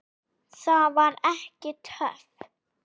Það var ekki töff.